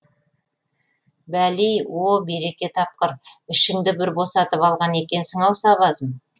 бәли о береке тапқыр ішіңді бір босатып алған екенсің ау сабазым